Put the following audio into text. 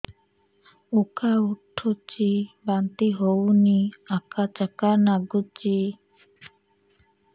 ଉକା ଉଠୁଚି ବାନ୍ତି ହଉନି ଆକାଚାକା ନାଗୁଚି